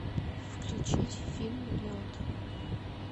включить фильм лед